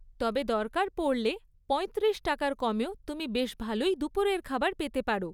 তবে দরকার পড়লে পঁয়ত্রিশ টাকার কমেও তুমি বেশ ভালোই দুপুরের খাবার পেতে পার।